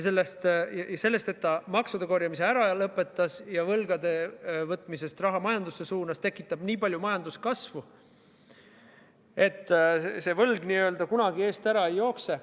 See, et ta maksude korjamise ära lõpetab ja võlgade võtmisest raha majandusse suunab, tekib nii palju majanduskasvu, et see võlg n-ö kunagi eest ära ei jookse.